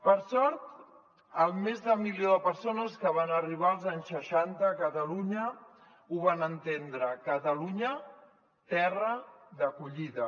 per sort el més del milió de persones que van arribar els anys seixanta a catalunya ho van entendre catalunya terra d’acollida